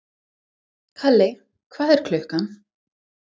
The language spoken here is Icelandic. Kali, hvað er klukkan?